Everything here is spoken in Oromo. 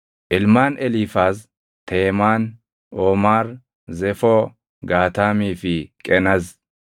Ilmaan Eliifaaz: Teemaan, Oomaar, Zefoo, Gaataamii fi Qenaz.